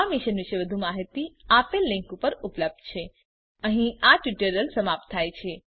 આ મિશન પર વધુ માહીતી આપેલ લીંક પર ઉપલબ્ધ છે httpspoken tutorialorgNMEICT Intro આમ અહીં આ ટ્યુટોરીયલનો અંત થાય છે